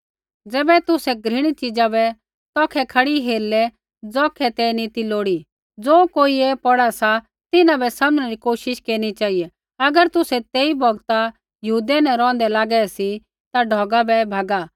ज़ैबै तुसै घृणित च़ीज़ा बै तौखै खड़ी हेरलै ज़ौखै ते नी ती लोड़ी ज़ो कोई ऐ पौढ़ा सा तिन्हां बै समझणै री कोशिश केरनी चेहिऐ अगर तुसै तेई बौगता यहूदिया न रौहंदै लागै सी ता ढौगा बै भैगा